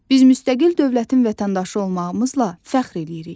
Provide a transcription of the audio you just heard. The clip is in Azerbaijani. Biz müstəqil dövlətin vətəndaşı olmağımızla fəxr eləyirik.